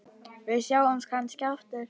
Við sjáumst kannski aftur.